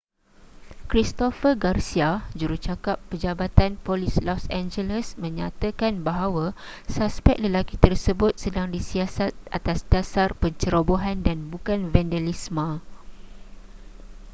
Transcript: christopher garcia jurucakap jabatan polis los angeles mengatakan bahawa suspek lelaki tersebut sedang disiasat atas dasar pencerobohan dan bukan vandalisme